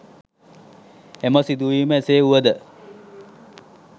එම සිදුවීම එසේ වූව ද